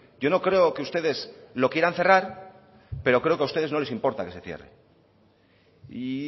yo no creo que ustedes lo quieran cerrar pero creo que a ustedes no les importa que se cierre y